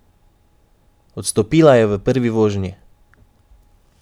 Odstopila je v prvi vožnji.